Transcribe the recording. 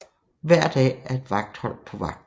Hver dag er et vagthold på vagt